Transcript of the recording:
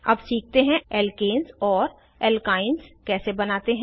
अब सीखते हैं एल्केन्स और एल्काइन्स कैसे बनाते हैं